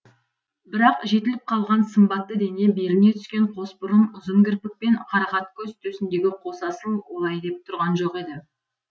бірақ жетіліп қалған сымбатты дене беліне түскен қос бұрым ұзын кірпік пен қарақат көз төсіндегі қос асыл олай деп тұрған жоқ еді